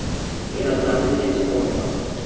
Ég held að henni sé alvara.